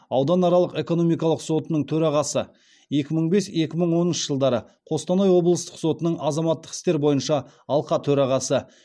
ауданаралық экономикалық сотының төрағасы екі мың бес екі мың оныншы жылдары қостанай облыстық сотының азаматтық істер бойынша алқа төрағасы